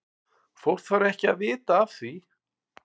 Fólk þarf ekki að vita af því.